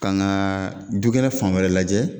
Kan ka dukɛnɛ fan wɛrɛ lajɛ